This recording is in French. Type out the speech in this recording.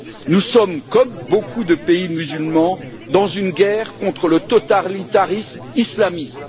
Nous sommes, comme beaucoup de pays musulmans, en guerre contre le totalitarisme islamiste.